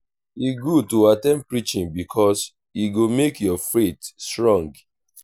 e good to at ten d preaching bikus e go mek yur faith strong.